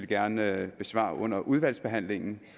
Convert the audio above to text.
gerne besvare under udvalgsbehandlingen